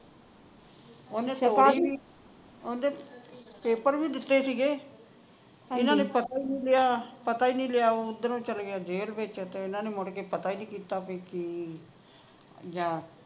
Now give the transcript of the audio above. ਓਹਨੇ ਓਂਦੇ ਪੇਪਰ ਵੀ ਦਿੱਤੇ ਸੀਗੇ ਇਹਨਾਂ ਨੇ ਪਤਾ ਹੀ ਨਹੀਂ ਲਿਆ ਪਤਾ ਹੀ ਨਹੀਂ ਲਿਆ ਓਧਰੋਂ ਚੱਲ ਗਿਆ ਜੇਲ ਵਿਚ ਤੇ ਓਹਨਾ ਨੇ ਮੁੜ ਕੇ ਪਤਾ ਹੀ ਨਹੀਂ ਕੀਤਾ ਕੋਈ ਕਿ ਜਾਂ